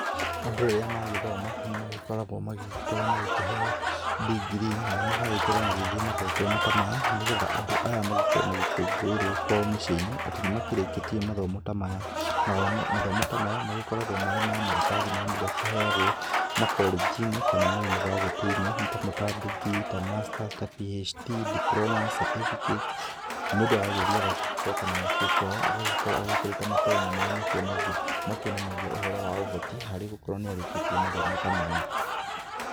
Andũ rĩrĩa magĩthoma nĩ magĩkoragwo magĩgĩkorwo kĩheo digiri nao magagĩkorwo magĩgĩthiĩ magongona ta maya nĩgetha andũ aya magĩkorwo magĩkũngũĩrwo kwao mĩciĩ-inĩ atĩ nĩ makĩrĩkĩtie mathomo ta maya, mathomo ta maya magĩkoragwo marĩ ma maratathi marĩa mũndũ akĩheagwo makorenji-inĩ kana mayũnibacitĩ-inĩ nĩ tamo ta Digiri, ta Masters, ta PHD,Diploma Certficates mũndũ agagĩthiĩ agagĩcoka na mũciĩ nakwao agagĩkorwo agĩkĩrĩte matonye m arĩa makĩonanagia ũhoro wa ũhoti harĩ gũkorwo nĩ arĩkĩtie mathomo ta maya.